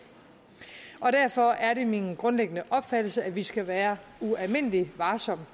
derfor er det min grundlæggende opfattelse at vi skal være ualmindelig varsomme